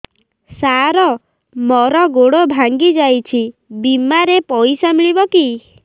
ସାର ମର ଗୋଡ ଭଙ୍ଗି ଯାଇ ଛି ବିମାରେ ପଇସା ମିଳିବ କି